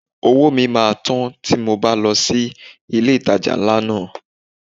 Owó mi máa tán tí mo bá lọ sí ilé ìtajà ńlá náà.